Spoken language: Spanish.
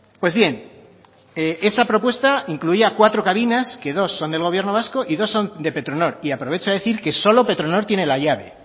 pues bien esa propuesta incluía cuatro cabinas que dos son del gobierno vasco y dos son de petronor y aprovecho a decir que solo petronor tiene la llave